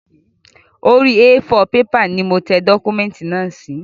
Orí A4 pepà ni mo tẹ dọ́kúmẹ̀tì náà sí